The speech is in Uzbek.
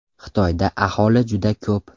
Xitoyda aholi juda ko‘p.